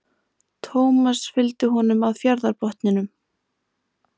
Thomas fylgdi honum að fjarðarbotninum.